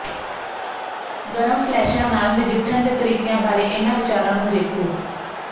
ਗਰਮ ਫਲੈਸ਼ਾਂ ਨਾਲ ਨਜਿੱਠਣ ਦੇ ਤਰੀਕਿਆਂ ਬਾਰੇ ਇਨ੍ਹਾਂ ਵਿਚਾਰਾਂ ਨੂੰ ਦੇਖੋ